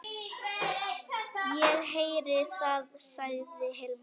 Ég heyri það, sagði Hilmar.